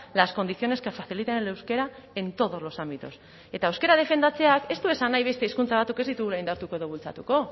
las condiciones que faciliten el euskera en todos los ámbitos eta euskara defendatzeak ez du esan nahi beste hizkuntza batzuk ez ditugula indartuko edo bultzatuko